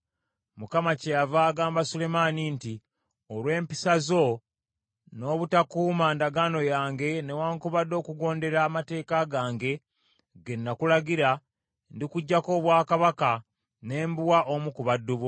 Mukama kyeyava agamba Sulemaani nti, “Olw’empisa zo, n’obutakuuma ndagaano yange newaakubadde okugondera amateeka gange ge nakulagira, ndikuggyako obwakabaka, ne mbuwa omu ku baddu bo.